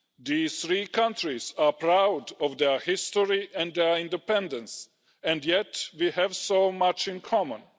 The three countries are proud of their history and independence, yet we also have much in common.